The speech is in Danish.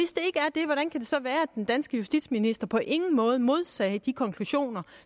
så være at den danske justitsminister på ingen måde modsagde de konklusioner